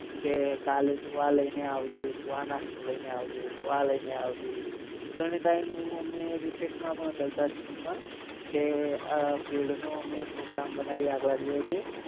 કે કાલે તુ આ લઈને આવજે તુ આ નાસ્તો લઈને આવજે તુ આ લઈને આવજે ઘણે time અમે rises મા ભી કરતા school મા કે ભેળ નો અમે program બનાવીએ આગળા દિવસે